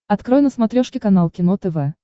открой на смотрешке канал кино тв